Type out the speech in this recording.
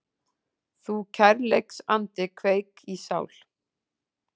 Þú kærleiksandi kveik í sál